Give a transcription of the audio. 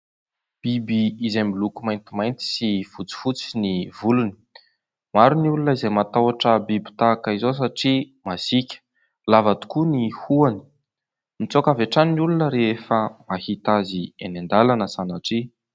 Biby izay miloko maintimainty sy fotsifotsy ny volony, maro ny olona izay matahotra biby tahaka izao satria masiaka, lava tokoa ny hohony, mitsoaka avy hatrany ny olona rehefa mahita azy eny an-dalana sanatria.